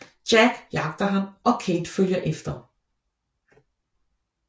Jack jagter ham og Kate følger efter